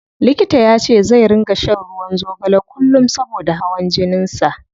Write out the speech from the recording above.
Likita yace zai ringa shan ruwan zogale kullum saboda hawan jinin sa.